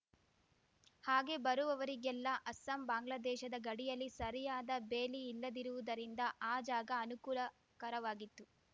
ಹಾಗೆ ಬರುವವರಿಗೆಲ್ಲ ಅಸ್ಸಾಂಬಾಂಗ್ಲಾದೇಶದ ಗಡಿಯಲ್ಲಿ ಸರಿಯಾದ ಬೇಲಿ ಇಲ್ಲದಿರುವುದರಿಂದ ಆ ಜಾಗ ಅನುಕೂಲಕರವಾಗಿತ್ತು